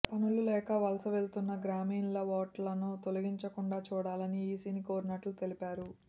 పనులు లేక వలస వెళుతున్న గ్రామీణుల ఓట్లను తొలగించకుండా చూడాలని ఈసీని కోరినట్టు తెలిపారు